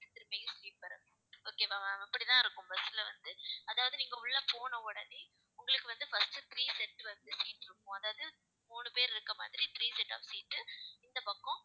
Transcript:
திருப்பியும் sleeper வரும் okay வா ma'am அப்படித்தான் இருக்கும் bus ல வந்து அதாவது நீங்க உள்ள போன உடனே உங்களுக்கு வந்து, first three set வந்து seat இருக்கும் அதாவது மூணு பேர் இருக்க மாதிரி three set off seat இந்தப் பக்கம்